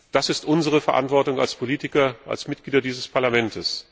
Das ist unsere Verantwortung als Politiker, als Mitglieder dieses Parlaments.